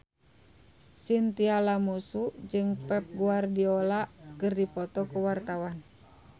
Chintya Lamusu jeung Pep Guardiola keur dipoto ku wartawan